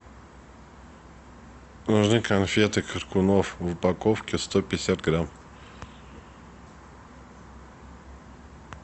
нужны конфеты коркунов в упаковке сто пятьдесят грамм